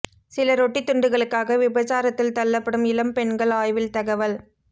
சில ரொட்டி துண்டுகளுக்காக விபசாரத்தில் தள்ளப்படும் இளம் பெண்கள் ஆய்வில் தகவல்